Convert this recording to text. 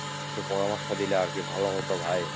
একটু পরামর্শ দিলে আর কি ভালো হতো ভাই,